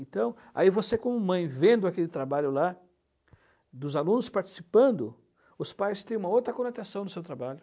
Então, aí você como mãe, vendo aquele trabalho lá, dos alunos participando, os pais têm uma outra conotação do seu trabalho.